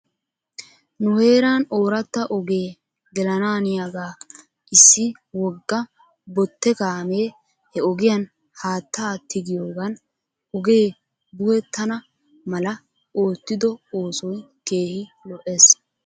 Nu heeran ooratta ogee gelanaaniyaagaa issi wogga botte kaamee he ogiyan haattaa tigiyoogan ogee buhettana mala oottido oosoy keehi lo'es.